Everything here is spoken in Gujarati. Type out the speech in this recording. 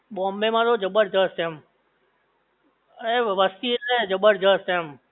બોમ્બે માં તો જબરજસ્ત એમ એ વસ્તી એટલે જબરજસ્ત એમ